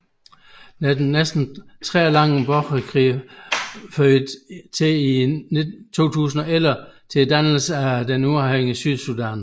Den næsten 30 år lange borgerkrig førte i 2011 til dannelsen af et uafhængigt Sydsudan